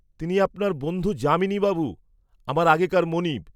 তিনি আপনার বন্ধু যামিনী বাবু, আমার আগেকার মনিব।